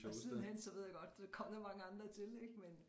Og sidenhen så ved jeg godt kom der mange andre til ikke men